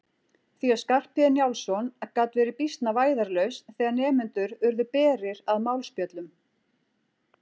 Því að Skarphéðinn Njálsson gat verið býsna vægðarlaus þegar nemendur urðu berir að málspjöllum.